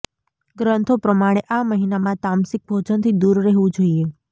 ગ્રંથો પ્રમાણે આ મહિનામાં તામસિક ભોજનથી દૂર રહેવું જોઇએ